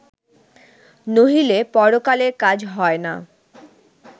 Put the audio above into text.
নহিলে পরকালের কাজ হয় না